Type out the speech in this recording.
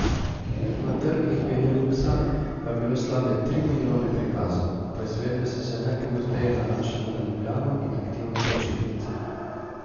Na trgih Beneluksa pa je bilo slabe tri milijone prikazov, poizvedbe so se najpogosteje nanašale na Ljubljano in aktivne počitnice.